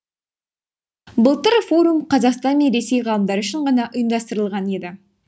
былтыр форум қазақстан мен ресей ғалымдары үшін ғана ұйымдастырылған еді